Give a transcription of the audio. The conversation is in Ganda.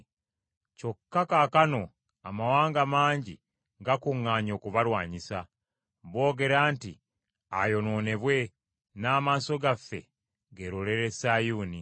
Kyokka kaakano amawanga mangi gakuŋŋaanye okubalwanyisa. Boogera nti, Ayonoonebwe, n’amaaso gaffe geelolere Sayuuni.